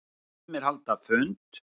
Sumir halda fund.